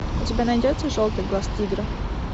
у тебя найдется желтый глаз тигра